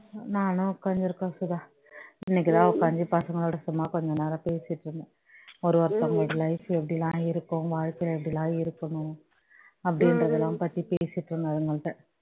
நானும் உட்கார்ந்திருக்கோம் சுதா இன்னைக்குதான் உட்கார்ந்து பசங்களோட சும்மா கொஞ்ச நேரம் பேசிட்டு இருந்தேன் ஒரு ஒருத்தவங்க life எப்படி எல்லாம் இருக்கும் வாழ்க்கையில எப்படி எல்லாம் இருக்கணும் அப்படின்றது எல்லாம் பத்தி பேசிட்டு இருந்தேன் அவங்க கிட்ட